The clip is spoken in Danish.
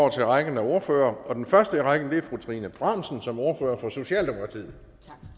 over til rækken af ordførere og den første i rækken er fru trine bramsen som ordfører for socialdemokratiet